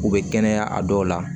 U bɛ kɛnɛya a dɔw la